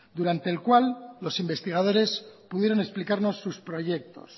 durante el cual los investigadores pudieron explicarnos sus proyectos